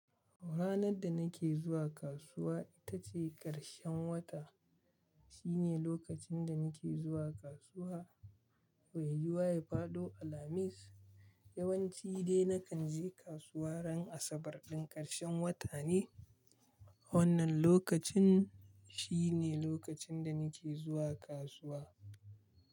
Ranar da nake zuwa kasuwa ita ce ƙarshen wata. Shi ne lokacin da nake zuwa kasuwa wai yuwa ya faɗo alhamis. Yawanci dai nakan je kasuwa ran asabar ɗin ƙarshen wata ne. Wannan lokacin shi ne lokacin da nake zuwa kasuwa.